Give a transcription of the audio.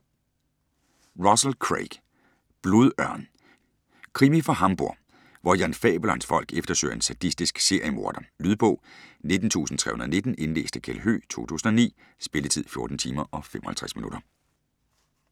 Russell, Craig: Blodørn Krimi fra Hamburg, hvor Jan Fabel og hans folk eftersøger en sadistisk seriemorder. Lydbog 19319 Indlæst af Kjeld Høegh, 2009. Spilletid: 14 timer, 55 minutter.